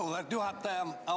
Auväärt juhataja!